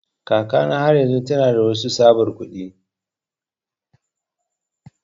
Kakana har yanzun tana da waɗansu tsabar kuɗi.